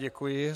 Děkuji.